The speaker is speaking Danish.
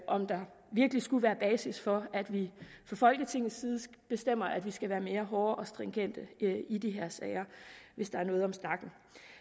om der virkelig skulle være basis for at vi fra folketingets side bestemmer at vi skal være hårdere og mere stringente i de her sager hvis der er noget om snakken